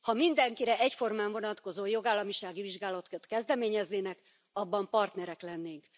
Ha mindenkire egyformán vonatkozó jogállamisági vizsgálatot kezdeményeznének, abban partnerek lennénk.